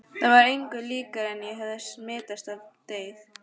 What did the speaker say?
Það var engu líkara en ég hefði smitast af deyfð